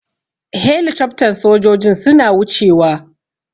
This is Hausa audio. Helicoftan sojojin suna wuce wa.